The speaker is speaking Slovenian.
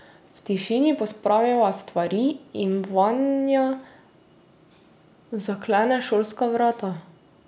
V tišini pospraviva stvari in Vanja zaklene šolska vrata.